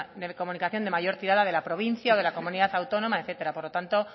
de comunicación de mayor tirada de la provincia o de la comunidad autónoma etcétera por lo tanto